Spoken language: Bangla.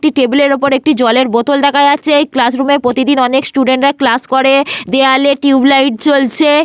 একটি টেবিল -এর ওপর একটি জলের বোতল দেখা যাচ্ছে। ক্লাসরুমে প্রতিদিন অনেক স্টুডেন্ট -রা ক্লাস করে। দেওয়ালে টিউবলাইট জ্বলছে।